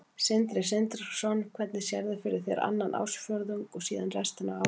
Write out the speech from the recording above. Sindri Sindrason: Hvernig sérðu fyrir þér annan ársfjórðung og síðan restina af árinu?